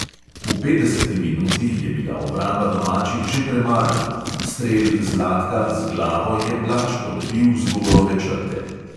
V petdeseti minuti je bila obramba domačih že premagana, strel zlatka z glavo je blaž odbil z golove črte.